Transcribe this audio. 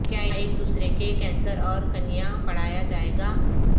کیا ایک دوسرے کے کینسر اور کنیا پڑھایا جائے گا